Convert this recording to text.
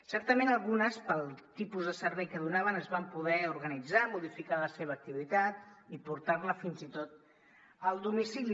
certament algunes pel tipus de servei que donaven es van poder organitzar modificar la seva activitat i portar la fins i tot al domicili